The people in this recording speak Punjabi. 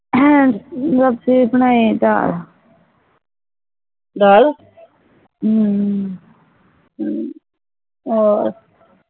ਹੈਂ ਸਬਜ਼ੀ ਬਨਾਇ ਆ ਦਾਲ ਹਮ ਹੋਰ